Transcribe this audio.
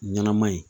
Ɲɛnama in